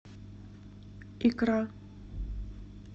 икра